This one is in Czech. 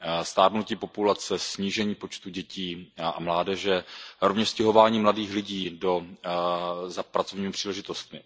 Stárnutí populace, snížení počtu dětí a mládeže, rovněž stěhování mladých lidí za pracovními příležitostmi.